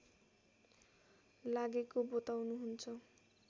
लागेको बताउनुहुन्छ